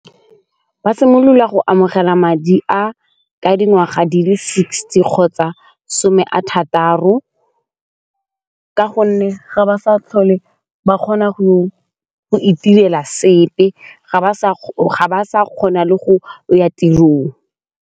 Ba simolola go amogela madi a ka dingwaga di le sixty kgotsa some a thataro ka gonne ga ba sa tlhole ba kgona go itirela sepe ga ba sa kgona le go ya tirong.